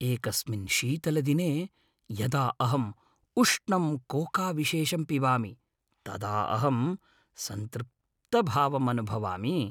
एकस्मिन् शीतलदिने यदा अहम् उष्णं कोकाविशेषं पिबामि तदा अहम् सन्तृप्तभावम् अनुभवामि।